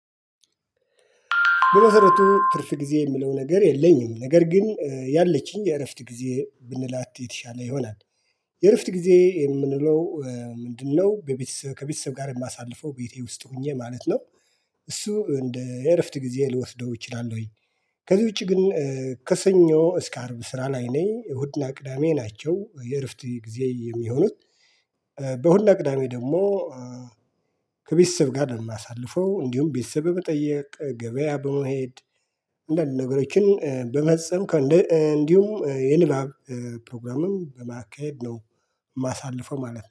በመሰረቱ ትርፍ ጊዜ የሚለው ነገር የለኝም ነገር ግን ያለችኝ የእረፍት ጊዜ ብንላት የተሻለ ይሆናል። የእርፍት ጊዜ የምንለው ምንድነው? ለቤተሰብ ከቤተሰብ ጋር የማሳልፈው ቤቴ ውስጥ ሆኜ ማለት ነው። እሱ እንደ እረፍት ጊዜ ልወስደው እችላለሁኝ። ከዚህ ውጪ ግን ከሰኞ እስከ አርብ ስራ ላይ ነኝ እሁድና ቅዳሜ ናቸው የእርፍት ጊዜ የሚሆኑት። በእሁድ እና ቅዳሜ ደግሞ ከቤተሰብ ጋር የማሳልፈው እንዲሁም ቤተሰብ በመጠየቅ ገበያ በመሄድ አንዳንድ ነገሮችን በመጸም ከእንዲሁም የንባብ ፕሮግራምም በማካሄድ ነው። የማሳልፈው ማለት ነው